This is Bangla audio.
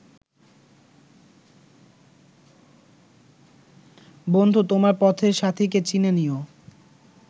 বন্ধু তোমার পথের সাথীকে চিনে নিও